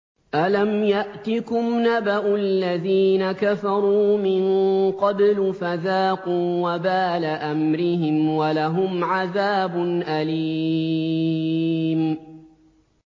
أَلَمْ يَأْتِكُمْ نَبَأُ الَّذِينَ كَفَرُوا مِن قَبْلُ فَذَاقُوا وَبَالَ أَمْرِهِمْ وَلَهُمْ عَذَابٌ أَلِيمٌ